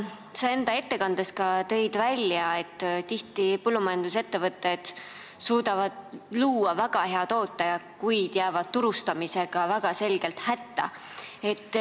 Sa tõid enda ettekandes ka välja, et põllumajandusettevõtted suudavad tihti luua väga hea toote, kuid jäävad väga selgelt hätta turustamisega.